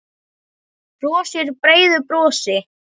Brosir breiðu brosi.